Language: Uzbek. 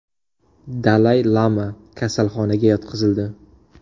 Dalay Lama kasalxonaga yotqizildi.